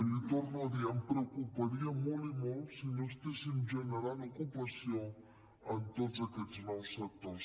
l’hi torno a dir em preocuparia molt i molt si no estiguéssim generant ocupació en tots aquests nous sectors